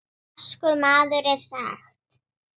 Vaskur maður er mér sagt.